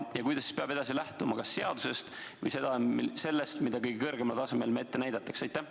Ja millest peab edaspidi lähtuma, kas seadusest või sellest, mida kõige kõrgemal tasemel meile ette näidatakse?